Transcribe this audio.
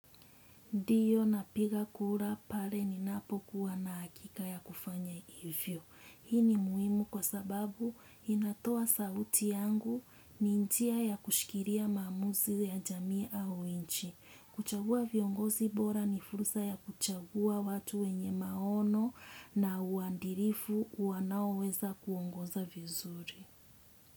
Ndiyo napiga kura pale ninapokuwa na hakika ya kufanya hivyo. Hii ni muhimu kwa sababu inatoa sauti yangu, ni njia ya kushikilia maamuzi ya jamii au nchi. Kuchagua viongozi bora ni fursa ya kuchagua watu wenye maono na uandirifu wanaoweza kuongoza vizuri.